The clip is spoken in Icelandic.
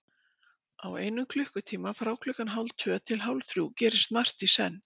Á einum klukkutíma, frá klukkan hálftvö til hálfþrjú gerist margt í senn.